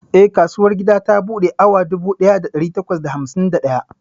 Eh, kasuwar gida ta buɗe a yau awa dubu ɗaya da ɗari takwas da hamsin da ɗaya.